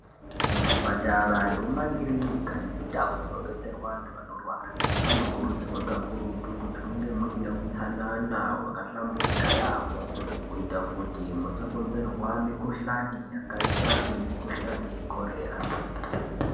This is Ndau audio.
Kuzvipatara nemumakirinika nemundau dzinobetserwa antu anorwara munokurudzirwa kakurutu kuti munge muine utsanana hwakahlamburika yaamho kuita kuti musakonzerwa mikhuhlani yakaita semikhuhlani yekhorera.